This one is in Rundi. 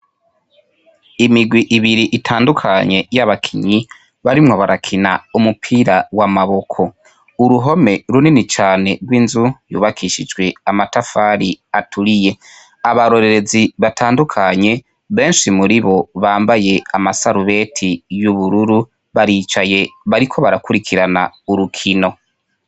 Imigwi ibiri itandukanye y'abakinyi barimwo barakina umupira w'amaboko, uruhome runini cane rw'inzu yubakishijwe amatafari aturiye, abarorerezi batandukanye benshi muribo bambaye amasarubeti y'ubururu baricaye bariko barakurikirana urukino.